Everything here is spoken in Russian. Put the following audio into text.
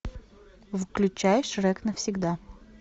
включай шрек навсегда